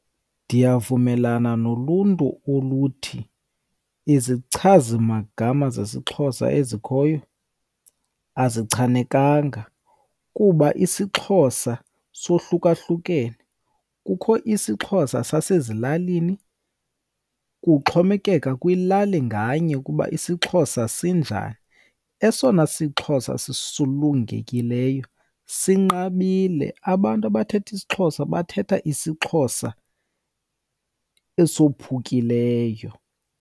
Ndiyavumelana noluntu oluthi izichazimagama zesiXhosa ezikhoyo azichanekanga kuba isiXhosa sohlukahlukene. Kukho isiXhosa zasezilalini, kuxhomekeka kwilali nganye ukuba isiXhosa sinjani. Esona siXhosa sisulungekileyo sinqabile, abantu abathetha isiXhosa bathetha isiXhosa esophukileyo.